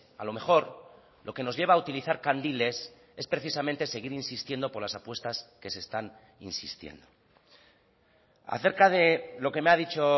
a lo mejor lo que nos lleva a utilizar candiles es precisamente seguir insistiendo por las apuestas que se están insistiendo acerca de lo que me ha dicho